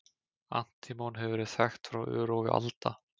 Antímon hefur verið þekkt frá örófi alda.